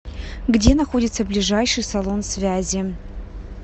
где находится ближайший салон связи